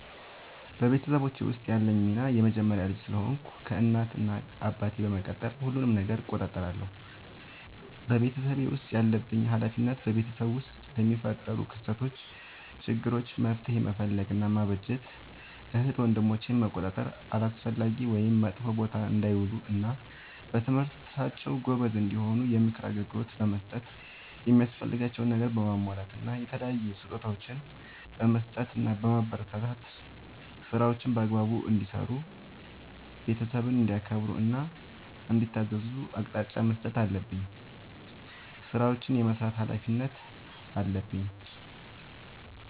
በቤተሰቦቼ ውስጥ ያለኝ ሚና የመጀመሪያ ልጅ ስለሆንኩ ከእናት እና አባቴ በመቀጠል ሁሉንም ነገር እቆጣጠራለሁ። በቤተሰቤ ውስጥ ያለብኝ ኃላፊነት በቤተሰብ ውስጥ ለሚፈጠሩ ክስተቶች ÷ችግሮች መፍትሄ መፈለግ እና ማበጀት ÷ እህት ወንድሞቼን መቆጣጠር አላስፈላጊ ወይም መጥፎ ቦታ እንዳይውሉ እና በትምህርታቸው ጎበዝ እንዲሆኑ የምክር አገልግሎት በመስጠት የሚያስፈልጋቸውን ነገር በማሟላት እና የተለያዩ ስጦታዎችን በመስጠትና በማበረታታት ÷ ስራዎችን በአግባቡ እንዲሰሩ ÷ ቤተሰብን እንዲያከብሩ እና እንዲታዘዙ አቅጣጫ መስጠት አለብኝ። ስራዎችን የመስራት ኃላፊነት አለብኝ።